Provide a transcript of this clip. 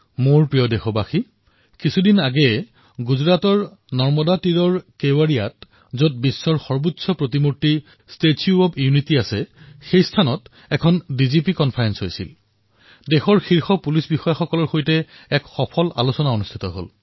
মোৰ মৰমৰ দেশবাসীসকল কিছুদিন পূৰ্বে গুজৰাটৰ নৰ্মদা নদীৰ তীৰত কেৱড়িয়াত ডিজিপি সন্মিলন অনুষ্ঠিত হল যত বিশ্বৰ ভিতৰতে সকলোকৈ ওখ মূৰ্তি ষ্টেচু অব্ ইউনিটী আছে তাত দেশৰ শীৰ্ষ আৰক্ষী বিষয়াসকলৰ সৈতে সাৰ্থক চৰ্চা হল